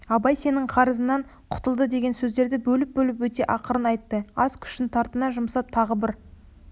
абай сенің қарызыңнан құтылды деген сөздерді бөліп-бөліп өте ақырын айтты аз күшін тартына жұмсап тағы бір